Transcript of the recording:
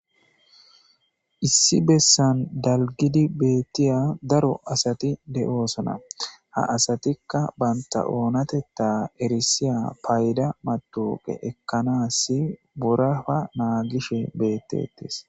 issi bessan dalgidi beettiya daro asati de7oosona ha asatikka banta oonateta erisiya payda matuqe ekkanasi burafa naagishe beettettis